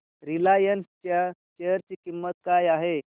Reliance च्या share ची किंमत काय आहे